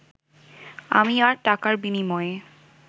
আমি আর টাকার বিনিময়ে